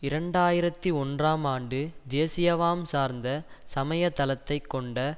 இரண்டு ஆயிரத்தி ஒன்றாம் ஆண்டு தேசியவாம் சார்ந்த சமய தளத்தை கொண்ட